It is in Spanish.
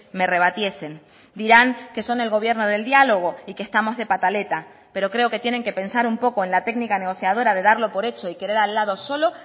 me rebatiesen dirán que son el gobierno del diálogo y que estamos de pataleta pero creo que tienen que pensar un poco en la técnica negociadora de darlo por hecho y querer al lado solo